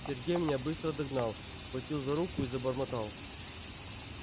сергей меня быстро догнал схватил за руку и забормотал